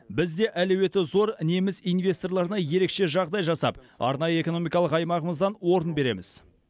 біз де әлеуеті зор неміс инвесторларына ерекше жағдай жасап арнайы экономикалық аймағымыздан орын береміз